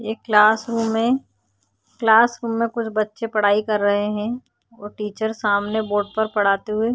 ये क्लासरूम है क्लासरूम में कुछ बच्चे पढाई कर रहे है और टीचर सामने बोर्ड पर पढाते हुए --